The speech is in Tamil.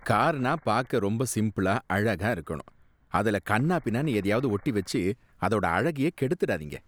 கார்னா பாக்க ரொம்ப சிம்பிளா அழகா இருக்கணும். அதுல கன்னா பின்னான்னு எதையாவது ஒட்டி வச்சு அதோட அழகையே கெடுத்துடாதீங்க.